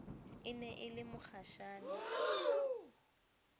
e ne e le mokgashane